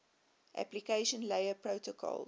application layer protocols